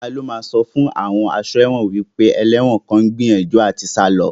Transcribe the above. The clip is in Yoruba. Ta ló máa sọ fún àwọn aṣọ́ ẹ̀wọ̀n wípé ẹlẹ́wọ̀n kan ń gbìyànjú láti sá lọ